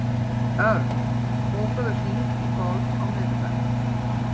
Örn, bókaðu hring í golf á miðvikudaginn.